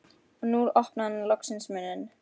Og nú opnaði hann loksins munninn.